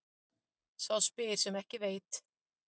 Spyr sá sem ekki veit.